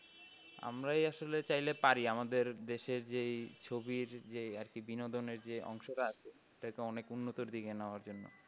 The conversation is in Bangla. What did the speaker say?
আমরাই আসলেই চাইলে পারি আমাদের দেশ যেই ছবির যে আর কি বিনোদনের যে অংশটা আছে এটাকে অনেক উন্নত দিকে নেওয়ার জন্য।